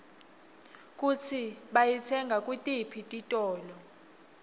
kutsi bayitsenga kutiphi titolo